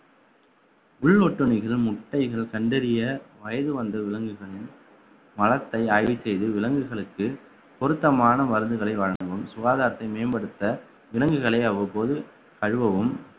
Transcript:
உள்ளொட்டுனைகள் முட்டைகள் கண்டறிய வயது வந்த விலங்குகள் மலத்தை அழுக செய்து விலங்குகளுக்கு பொருத்தமான மருந்துகளை வழங்கவும் சுகாதாரத்தை மேம்படுத்த விலங்குகளை அவ்வப்போது கழுவவும்